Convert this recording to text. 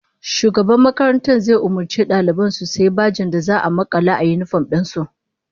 Shugaban makarantar zai umurci daliban su sayi bajen da za'a makala a yinifom din su